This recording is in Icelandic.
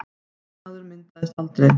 Trúnaður myndaðist aldrei